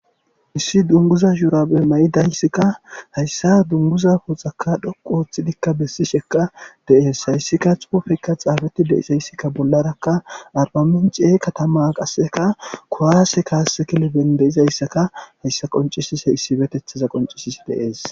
Issi dunguzza shurabe mayidayssi issi dunguza poxxa dhoqqu oththidika besishsheka de'ess hayssika xuufey xafetidi de'izayssi bollaraka arbamincce katama kuwasse kassanchchata issipeteththa besess.